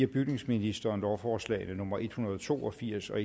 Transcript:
bygningsministeren lovforslag nummer l en hundrede og to og firs og